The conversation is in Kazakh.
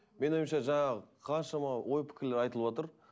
менің ойымша жаңағы қаншама ой пікірлер айтылыватыр